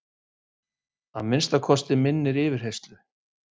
Að minnsta kosti minnir yfirheyrslu